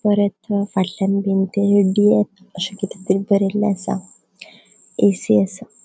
परत फाटल्यान अशे किते तरी बोरेले असा ऐ.सी. असा.